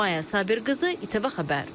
Maya Sabirqızı, ITV Xəbər.